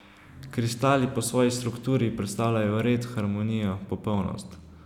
Kristali po svoji strukturi predstavljajo red, harmonijo, popolnost.